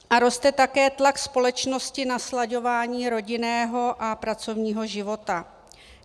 A roste také tlak společnosti na slaďování rodinného a pracovního života.